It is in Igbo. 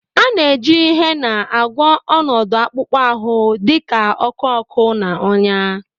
A na-eji Hena agwọ ọnọdụ akpụkpọ ahụ dị ka ọkụ ọkụ na ọnyá